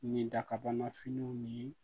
Nin dakabanafiniw ni